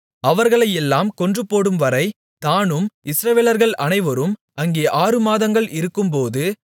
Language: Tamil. அவர்களையெல்லாம் கொன்றுபோடும்வரை தானும் இஸ்ரவேலர்கள் அனைவரும் அங்கே ஆறுமாதங்கள் இருக்கும்போது